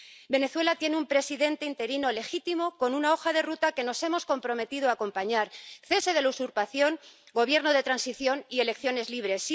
Venezuela tiene un presidente interino legítimo con una hoja de ruta que nos hemos comprometido a acompañar cese de la usurpación, gobierno de transición y elecciones libres.